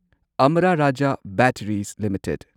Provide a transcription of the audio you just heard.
Amara Raja batteries limited